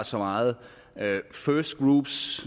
så meget